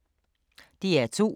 DR2